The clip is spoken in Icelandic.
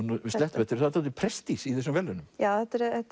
við slettum svolítið prestige í þessum verðlaunum já þetta eru